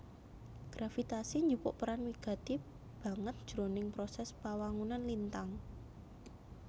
Gravitasi njupuk peran wigati banget jroning prosès pawangunan lintang